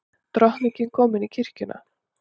Drottning komin í kirkjuna